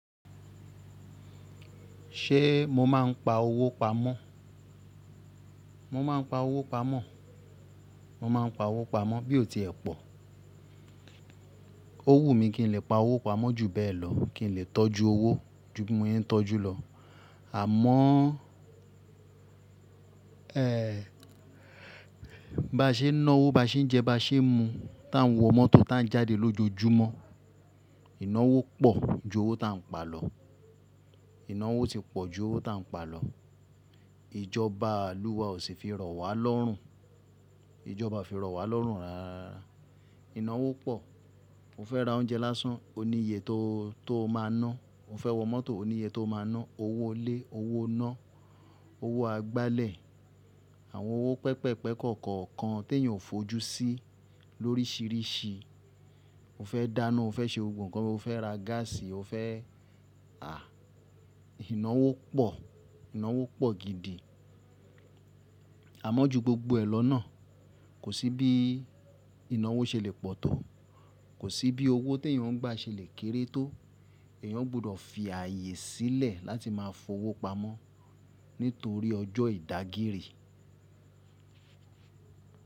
Ṣee mo máa ń pa owó pamọ́? Mo máa ń pa owó pamọ́, mo máa ń pa owó pamọ́ bí o ti ẹ pọ̀. O wún mi kìi n lè pa owó pamọ́ ju bẹ́ẹ̀ lọ, kìi n lè tọ́jú owó ju bí mo ṣe ń tọ́jú lọ. Àmọ́o, ẹ́hh, bá ṣe náwó, bá ṣe n jẹ́, bá ṣe n mu, tá ń wọ mọ́tò, tá ń jáde lójoojúmọ́, ìnáwó pọ̀ ju owó ta ń pa lọ. Ìnáwó ti pọ̀ ju owó ta ń pa lọ. Ìjọbaa lùwà ò sì fi rọ̀ wá lọ́rùn. Ìjọba o fi rọ̀ wá lọ́rùn rárára. Ìnáwó pọ̀. O fẹ́ ra oúnjẹ lásán, òní iye toó, tó má ná. O fẹ́ wọ mọ́tò, òní iye tó máa ná. Owó ilé, owó iná, owó agbálẹ̀, àwọn owó pẹpẹ́pẹ̀ kokọ̀ọ̀kan tèyàn ó fojú sí lórísìrísìí. O fẹ́ dáná, o fẹ́ ṣe gbogbo, nǹkan o fẹ́ ra gáàsì, o fẹ́, àh, ìnáwó pọ̀, ìnáwó pọ̀ gidi. Àmọ́ ju gbogbo ẹ lọ náà, kò sí bií ìnáwó ṣe lè pọ̀ tó. Kò sí bí owó teyàn ń gbà ṣe lè kéré tó. Èyàn gbudọ̀ fi ààyè sílẹ̀ láti máa fowó pamọ́ nítorí ọjọ́ ìdágírì.